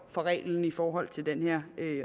fra reglen i forhold til den her